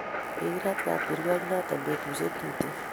Kikiret kabkirwo inot petushike tuten